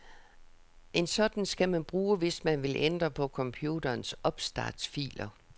En sådan skal man bruge, hvis man vil ændre på computerens opstartsfiler.